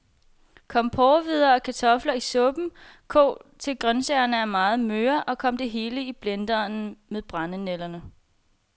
Kom porrehvider og kartofler i suppen, kog til grøntsagerne er meget møre, og kom det hele i blenderen med brændenælderne.